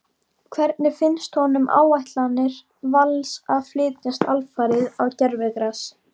Hvernig finnst honum áætlanir Vals að flytjast alfarið á gervigras?